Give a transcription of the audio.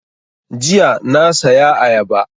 Jiya na saya ayaba